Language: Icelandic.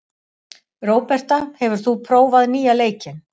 Róberta, hefur þú prófað nýja leikinn?